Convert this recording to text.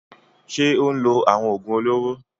Ṣé ó ń lo àwọn òògùn olóró?